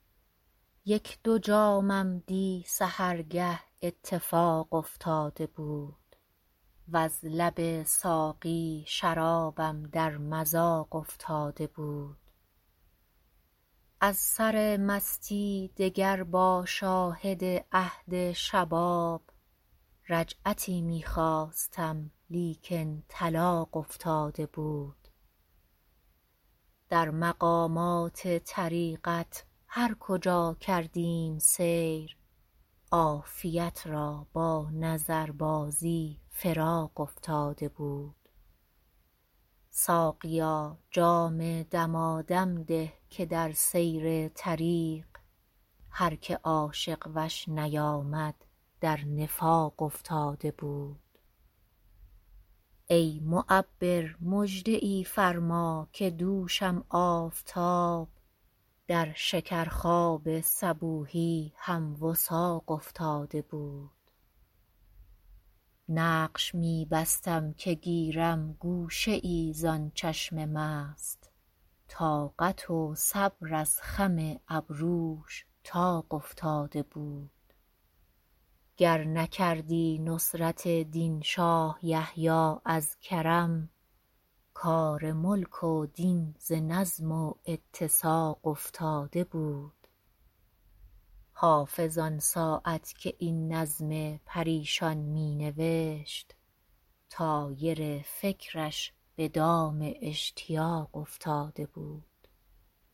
یک دو جامم دی سحرگه اتفاق افتاده بود وز لب ساقی شرابم در مذاق افتاده بود از سر مستی دگر با شاهد عهد شباب رجعتی می خواستم لیکن طلاق افتاده بود در مقامات طریقت هر کجا کردیم سیر عافیت را با نظربازی فراق افتاده بود ساقیا جام دمادم ده که در سیر طریق هر که عاشق وش نیامد در نفاق افتاده بود ای معبر مژده ای فرما که دوشم آفتاب در شکرخواب صبوحی هم وثاق افتاده بود نقش می بستم که گیرم گوشه ای زان چشم مست طاقت و صبر از خم ابروش طاق افتاده بود گر نکردی نصرت دین شاه یحیی از کرم کار ملک و دین ز نظم و اتساق افتاده بود حافظ آن ساعت که این نظم پریشان می نوشت طایر فکرش به دام اشتیاق افتاده بود